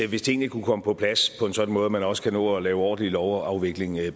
hvis tingene kunne komme på plads på en sådan måde at man også kan nå at lave ordentlige til lovafvikling